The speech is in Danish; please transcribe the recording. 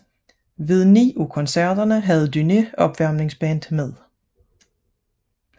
Ved ni af koncerterne havde Dúné opvarmningsband med